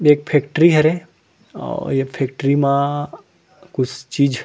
एक फैक्ट्री हरे अउ ए म फैक्ट्री कुछ चीज़--